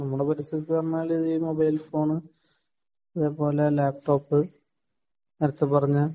നമ്മളെ പരിസരത്തു ഇ മൊബൈൽ ഫോൺ , ഈ ലാപ്ടോപ്പ് , നേരെത്തെ പറഞ്ഞ